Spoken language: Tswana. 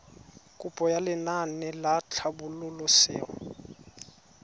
kopo ya lenaane la tlhabololosewa